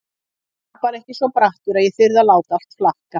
Ég var bara ekki svo brattur að ég þyrði að láta allt flakka.